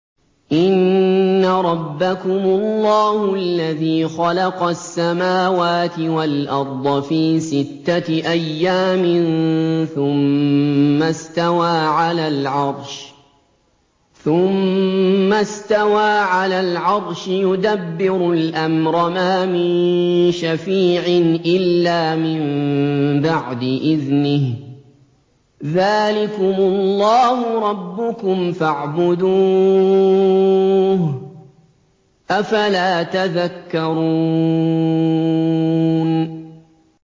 إِنَّ رَبَّكُمُ اللَّهُ الَّذِي خَلَقَ السَّمَاوَاتِ وَالْأَرْضَ فِي سِتَّةِ أَيَّامٍ ثُمَّ اسْتَوَىٰ عَلَى الْعَرْشِ ۖ يُدَبِّرُ الْأَمْرَ ۖ مَا مِن شَفِيعٍ إِلَّا مِن بَعْدِ إِذْنِهِ ۚ ذَٰلِكُمُ اللَّهُ رَبُّكُمْ فَاعْبُدُوهُ ۚ أَفَلَا تَذَكَّرُونَ